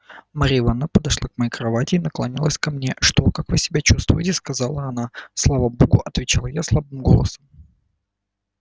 марья ивановна подошла к моей кровати и наклонилась ко мне что как вы себя чувствуете сказала она слава богу отвечал я слабым голосом